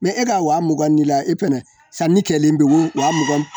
e ka wa mugan ni e fɛnɛ sanni kɛlen don waa mugan